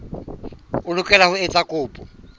o lokela ho etsa kopo